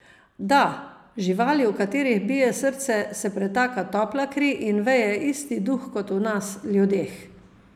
Da, živali, v katerih bije srce, se pretaka topla kri in veje isti duh kot v nas, ljudeh.